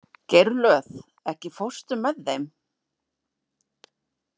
Geirlöð, ekki fórstu með þeim?